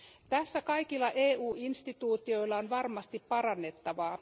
Tässä kaikilla EU instituutioilla on varmasti parannettavaa.